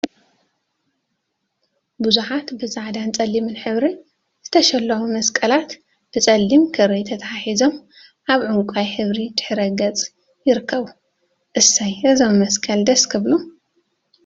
ቡዙሓት ብፃዕዳን ፀሊምን ሕብሪ ዝተሸለሙ መስቀላት ብፀሊም ክሪ ተተሓሒዞም አብ ዕንቋይ ሕብሪ ድሕረ ገፅ ይርከቡ፡፡ እሰይ! እዞም መስቀላት ደስ ክብሉ፡፡